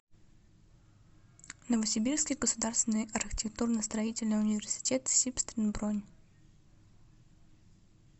новосибирский государственный архитектурно строительный университет сибстрин бронь